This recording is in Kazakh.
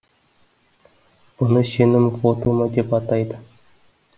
бұны сенім вотумы деп атайды